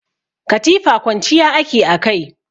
Katifa kwanciya ake a kai.